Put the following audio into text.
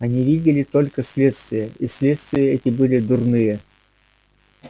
они видели только следствия и следствия эти были дурные